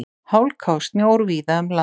Hálka og snjór víða um land